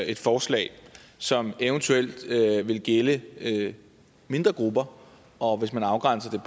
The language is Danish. et forslag som eventuelt vil gælde mindre grupper og hvis man afgrænser